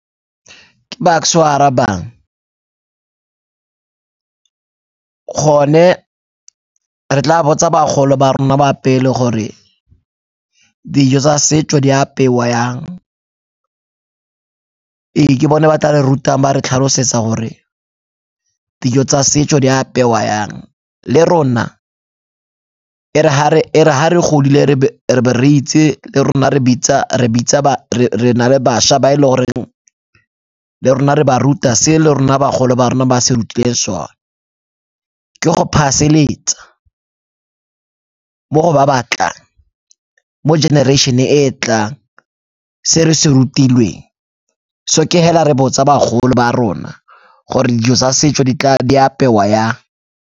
Ke Bucks-e o a arabang, gone re tla botsa bagolo ba rona ba pele gore dijo tsa setso di apewa yang. Ee, ke bone ba tla re rutang ba re tlhalosetsa gore dijo tsa setso di apewa yang le rona e re ha re godile re be re itse le rona re bitsa re na le bašwa ba e le goreng le rona re ba ruta se le rona bagolo ba rona ba se rutileng sona. Ke go pass-eletsa mo go ba ba tlang, mo generation e e tlang se re se rutilweng. So ke hela re botsa bagolo ba rona gore dijo tsa setso di apewa yang.